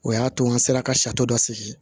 O y'a to an sera ka dɔ sigi